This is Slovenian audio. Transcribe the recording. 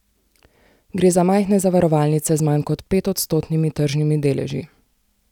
Gre za majhne zavarovalnice z manj kot petodstotnimi tržnimi deleži.